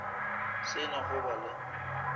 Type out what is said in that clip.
se na go ba le